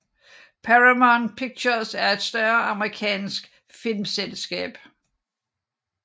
Paramount Pictures er et større amerikansk filmselskab